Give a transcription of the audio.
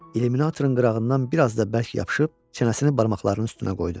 İluminatorun qırağından bir az da bərk yapışıb çənəsini barmaqlarının üstünə qoydu.